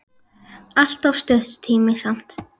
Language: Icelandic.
Allt of stuttur tími samt.